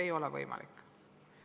Ei ole võimalik.